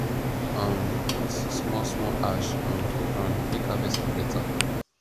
um put small small ash um for ground make harvest for beta